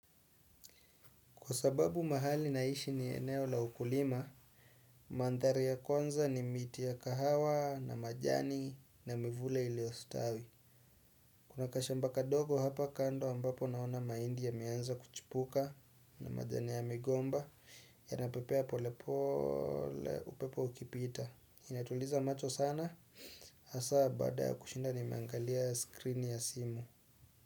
Kwa sababu mahali naishi ni eneo la ukulima, mandhari ya kwanza ni miti ya kahawa na majani na mivule iliyostawi. Kuna kashamba kadogo hapa kando ambapo naona mahindi yameanza kuchipuka, na majani ya migomba yanapepea pole pole upepo ukipita. Inatuliza macho sana, hasa baada ya kushinda nimeangalia screen ya simu.